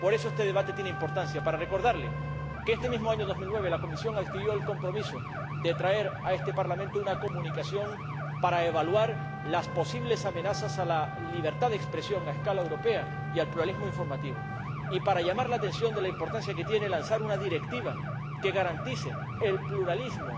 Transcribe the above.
Por eso, este debate tiene importancia, para recordarles que este mismo año 2009 la Comisión adquirió el compromiso de presentar ante este Parlamento una comunicación para evaluar las posibles amenazas a escala europea a la libertad de expresión y al pluralismo informativo y para llamar la atención sobre la importancia de elaborar una directiva que garantice el pluralismo